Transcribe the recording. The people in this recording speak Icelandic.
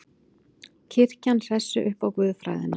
Kirkjan hressi upp á guðfræðina